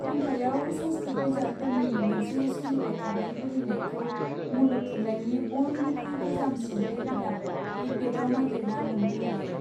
खन्थाइयाव संस्कृत बिजाबफोरनि मोनसे सोलिबाय थानाय बोहैनायखौ मुलुग थुनलायनि बयनिख्रुइ गोजामसिन लिरबिदां ऋग्वेदआव नागिरना मोन्नो हायो।